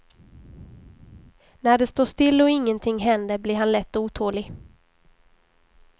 När det står still och ingenting händer blir han lätt otålig.